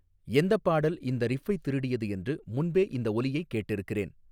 எந்தப் பாடல் இந்த ரிஃப்பைத் திருடியது என்று முன்பே இந்த ஒலியைக் கேட்டிருக்கிறேன்